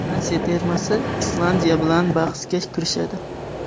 Fransiya termasi Islandiya bilan bahsga kirishadi.